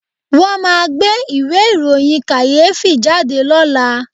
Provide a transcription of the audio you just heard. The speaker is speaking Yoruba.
Wọ́n máa gbé ìwé ìròyìn kàyéfì jáde lọ́la